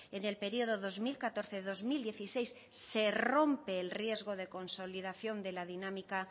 en el periodo dos mil catorce dos mil dieciséis se rompe el riesgo de consolidación de la dinámica